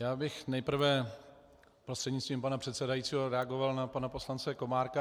Já bych nejprve prostřednictvím pana předsedajícího reagoval na pana poslance Komárka.